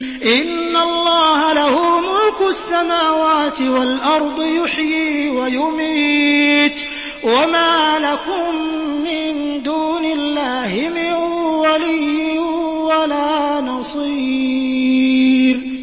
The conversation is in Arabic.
إِنَّ اللَّهَ لَهُ مُلْكُ السَّمَاوَاتِ وَالْأَرْضِ ۖ يُحْيِي وَيُمِيتُ ۚ وَمَا لَكُم مِّن دُونِ اللَّهِ مِن وَلِيٍّ وَلَا نَصِيرٍ